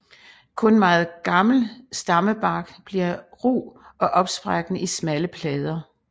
Kun meget gammel stammebark bliver ru og opsprækkende i smalle plader